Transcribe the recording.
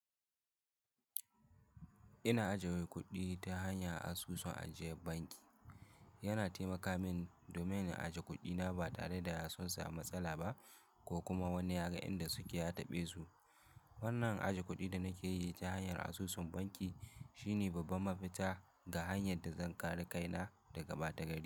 Ina aje wai kuɗi ta hanyar asusun ajiye banki. Yana taimaka min domin in aje kuɗina ba tare da sunsa mu matsala ba ko kuma wani ya ga inda suke a taɓe su. Wannan aje kuɗin da nake yi ta hanyar asusun banki shine babban mafita ga hanyar da zan kare kaina daga ɓata gari.